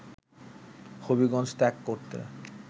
হবিগঞ্জ ত্যাগ করতে